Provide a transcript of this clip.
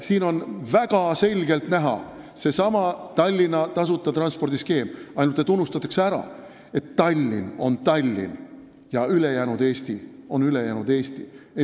Siin on väga selgelt näha seesama Tallinna tasuta transpordi skeem, ainult unustatakse ära, et Tallinn on Tallinn ja ülejäänud Eesti on ülejäänud Eesti.